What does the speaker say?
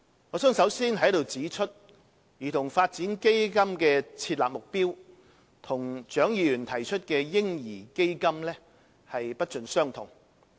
我想首先在此指出，兒童發展基金的設立目標與蔣議員提出的"嬰兒基金"不盡相同。